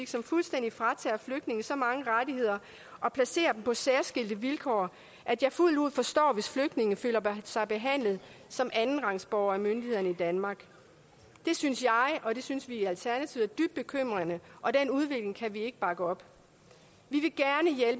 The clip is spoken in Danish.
som fuldstændig fratager flygtninge så mange rettigheder og placerer dem på så særskilte vilkår at jeg fuldt ud forstår hvis flygtninge føler sig behandlet som andenrangsborgere af myndighederne i danmark det synes jeg og det synes vi i alternativet er dybt bekymrende og den udvikling kan vi ikke bakke op